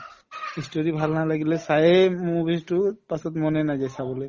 ই story ভাল নালাগিলে চায়ে movies তো পাছত মনে নাযায় চাবলে